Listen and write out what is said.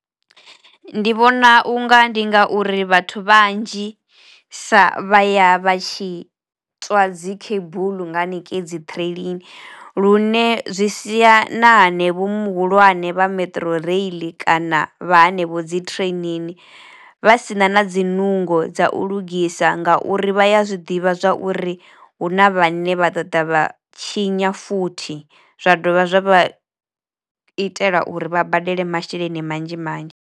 Ndi vhona unga ndi nga uri vhathu vhanzhi sa vha ya vha tshi tswa dzi cable nga haningei dzi ṱireiḽini lune zwi sia na hanevho muhulwane vha metro rail kana vha hanevho dzi training vha si na na dzi nungo dza u lugisa nga uri vha ya zwiḓivha zwa uri hu na vhane vha ḓoḓa vha tshinya futhi zwa dovha zwa vha itela uri vha badele masheleni manzhi manzhi.